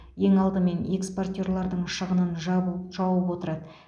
ең алдымен экспортерлардың шығынын жабу жауып отырады